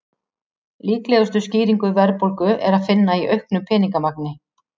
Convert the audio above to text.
Líklegustu skýringu verðbólgu er að finna í auknu peningamagni.